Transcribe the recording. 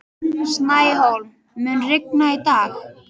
Snæhólm, mun rigna í dag?